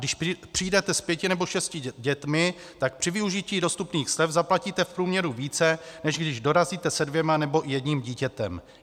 Když přijdete s pěti nebo šesti dětmi, tak při využití dostupných slev zaplatíte v průměru více, než když dorazíte se dvěma nebo jedním dítětem.